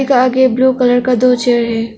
Car के blue colour का दो चेयर है।